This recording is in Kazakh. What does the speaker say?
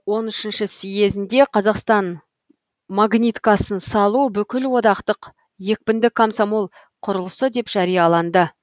он үшінші съезінде қазақстан магниткасын салу бүкілодақтық екпінді комсомол құрылысы деп жарияланды